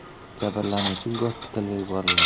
Jabrlanuvchi gospitalga yuborilgan.